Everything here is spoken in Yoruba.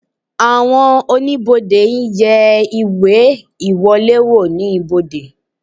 Àwọn oníbodè ń yẹ ìwé ìwọlé wò oníbodè